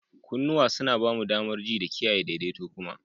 Kunnuwa suna ba mu damar ji da kiyaye daidaito kuma.